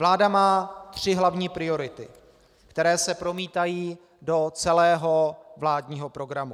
Vláda má tři hlavní priority, které se promítají do celého vládního programu.